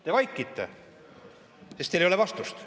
Te vaikite, sest teil ei ole vastust.